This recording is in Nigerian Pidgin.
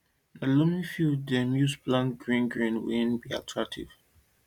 na loamy field dem dey use plant green grain wey be alternative